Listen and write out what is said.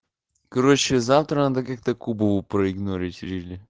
короче завтра надо как-то кубу проигнорить или не